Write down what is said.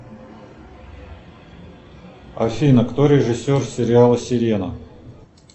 афина кто режиссер сериала сирена